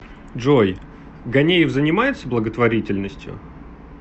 джой ганеев занимается благотворительностью